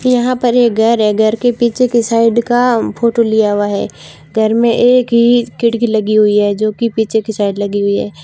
यहां पर एक घर है घर के पीछे की साइड का फोटो लिया हुआ है घर में एक ही खिड़की लगी हुई है जो कि पीछे की साइड लगी हुई है।